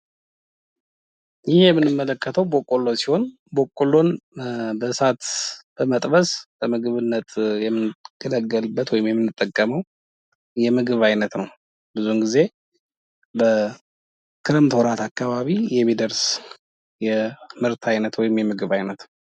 ይህ የምንመለከተው በቆሎ ሲሆን በቆሎን በእሳት በመጥበስ የምንመገብበት ወይም የምንገለገልበት ወይንም የምንጠወመው የምግብ አይነት ነው። ብዙውን ጊዜ በክረምት ወራት አካባቢ የሚደርስ የምርት አይነት ወይንም የምግብ አይነት ነው።